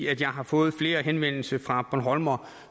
at jeg har fået flere henvendelser fra bornholmere